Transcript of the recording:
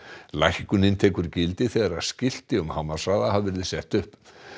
lækkunin tekur gildi þegar skilti um hámarkshraða hafa verið sett upp